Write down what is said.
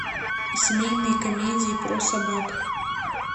семейные комедии про собак